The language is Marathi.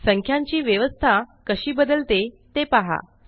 संख्यांची व्यवस्था कशी बदलते ते पहा